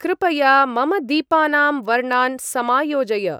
कृपया मम दीपानां वर्णान् समायोजय।